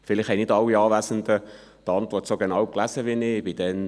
Vielleicht haben nicht alle Anwesenden die Antwort so genau gelesen wie ich.